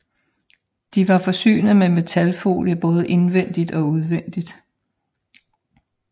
De var forsynet med metalfolie både indvendigt og udvendigt